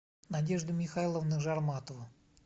надежда михайловна жарматова